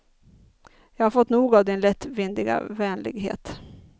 Jag har fått nog av din lättvindiga vänlighet.